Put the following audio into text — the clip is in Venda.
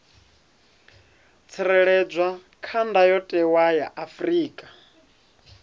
tsireledzwa kha ndayotewa ya afrika